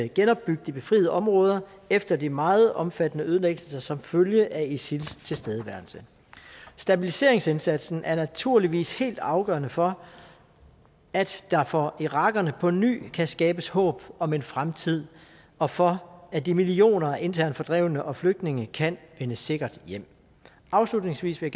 genopbygge de befriede områder efter de meget omfattende ødelæggelser som følge af isils tilstedeværelse stabiliseringsindsatsen er naturligvis helt afgørende for at der for irakerne på ny kan skabes håb om en fremtid og for at de millioner af internt fordrevne og flygtninge kan vende sikkert hjem afslutningsvis vil